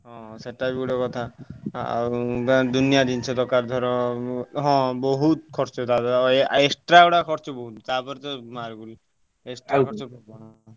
ହଁ ସେଇଟା ବି ଗୋଟେ କଥା। ଦୁନିଆ ଜିନିଷ ଦରକାର ଧର, ହଁ ବୋହୁତ ଖର୍ଚ୍ଚ ତା ପାଇଁ extra ଖର୍ଚ୍ଚ ଗୁଡ ବୋହୁତ ତାପରେ ତ ।